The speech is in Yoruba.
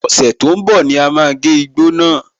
Ọ̀sẹ̀ tó ń bọ̀ ní à máa gé igbó náà.